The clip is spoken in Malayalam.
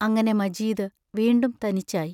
അങ്ങനെ മജീദ് വീണ്ടും തനിച്ചായി.